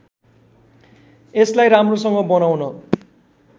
यसलाई राम्रोसँग बनाउन